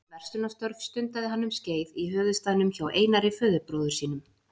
Verslunarstörf stundaði hann um skeið í höfuðstaðnum hjá Einari föðurbróður sínum.